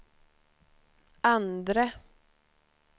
andre